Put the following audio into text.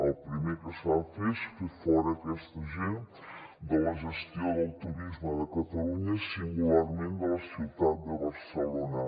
el primer que s’ha de fer és fer fora aquesta gent de la gestió del turisme de catalunya singularment de la ciutat de barcelona